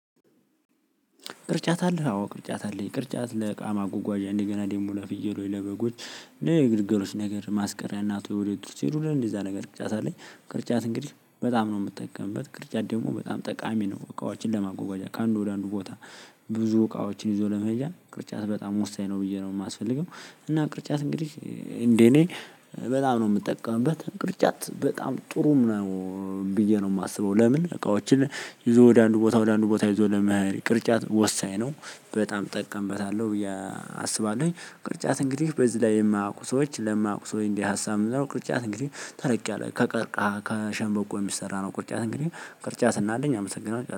ቅርጫት አለህ አዎ ቅርጫት አለኝ ቅርጫት ለእቃ ማጉጓዣ እንደገና ደሞ ለፍየሎች ለበጎች። የግልገሎች ነገር ማስቀሪያ እና ቶለይቶች እንደዛ ነገር ቅርጫት አለኝ ቅርጫት እንግዲህ በጣም ነው የምጠቀምበት ቅርጫት ደግሞ በጣም ጠቃሚ ነው። እቃዎችን ለማጎጓጃ ከአንዱ ወደ አንዱ ቦታ ብዙ እቃዎችን ይዞ ለመሄጃ ቅርጫት በጣም ወሳኝ ነው ብዬ ነው የማስፈልገው። እና ቅርጫት እንግዲህ እንዴ እኔ በጣም ነው የምጠቀምበት ቅርጫት በጣም ጥሩም ነው። ብዬ ነው የማስበው ለምን እቃዎችን ይዞ ወደ አንዱ ቦታ ወደ አንዱ ቦታ ይዞ ለመሄድ ቅርጫት ወሳኝ ነው። በጣም እጠቀምበታለሁ ብዬ አስባለሁኝ ቅርጫት እንግዲህ በዚህ ላይ የማውቁ ሰዎች ለማያውቁ ሰዎች እንድሀሳብ ምንድንነው? ቅርጫት እንግዲህ ተለቅ ያለ ከቀርቃ ከሸንበቆ የሚሰራ ነው ቅርጫት እንግዲህ ቅርጫት ስናገኝ አመሰግናለሁ